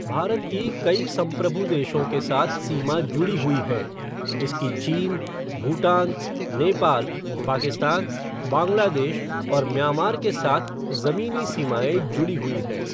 भारत की कई संप्रभु देशों के साथ सीमा जुड़ी हुई हैं, इसकी चीन, भूटान, नेपाल, पाकिस्तान, बांग्लादेश और म्यांमार के साथ जमीनी सीमाएं जुड़ी हुई हैं।